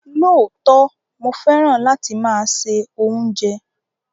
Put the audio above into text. Lóòtọ̀, mó fẹ́ràn láti má ṣẹ ọ̀unjẹ